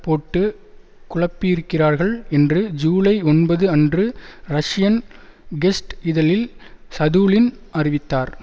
போட்டு குழப்பியிருக்கிறார்கள் என்று ஜூலை ஒன்பது அன்று ரஷ்யன் கெஸ்ட் இதழில் சதுலின் அறிவித்தார்